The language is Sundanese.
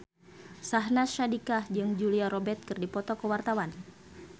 Syahnaz Sadiqah jeung Julia Robert keur dipoto ku wartawan